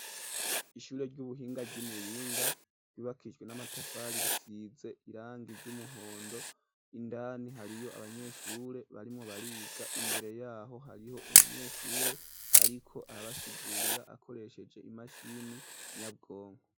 Ishure ry'ubuhinga ryi Muyinga ryubakijwe n'amatafari risize irangi ry'umuhondo indani hariyo abanyeshure barimo bariga imbere yaho hariho umunyeshure ariko arabasigurira akoresheje imashini inyabwonko.